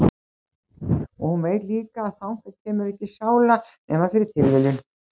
Og hún veit líka að þangað kemur ekki sála nema fyrir tilviljun.